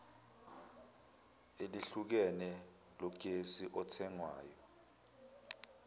elehlukene logesi othengwayo